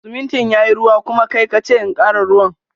Siminti yayi ruwa, kuma kai kace in kara ruwan.